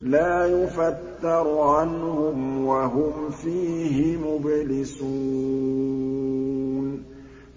لَا يُفَتَّرُ عَنْهُمْ وَهُمْ فِيهِ مُبْلِسُونَ